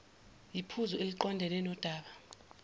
yiphuzu eliqondene nodaba